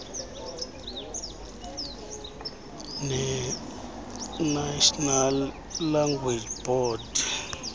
nenational language board